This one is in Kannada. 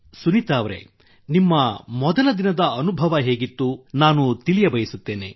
ಸುನೀತಾ ಅವರೆ ನಿಮ್ಮ ಮೊದಲ ದಿನದ ಅನುಭವ ಹೇಗಿತ್ತು ಎಂದು ನಾನು ತಿಳಿಯಬಯಸುತ್ತೇನೆ